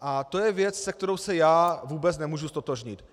A to je věc, se kterou se já vůbec nemohu ztotožnit.